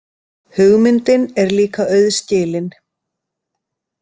Hugmyndin er líka auðskilin.